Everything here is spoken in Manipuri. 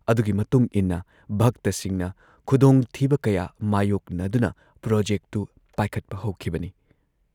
ꯑꯗꯨꯒꯤ ꯃꯇꯨꯡ ꯏꯟꯅ ꯚꯛꯇꯁꯤꯡꯅ ꯈꯨꯗꯣꯡꯊꯤꯕ ꯀꯌꯥ ꯃꯥꯌꯣꯛꯅꯗꯨꯅ ꯄ꯭ꯔꯣꯖꯦꯛꯇꯨ ꯄꯥꯏꯈꯠꯄ ꯍꯧꯈꯤꯕꯅꯤ ꯫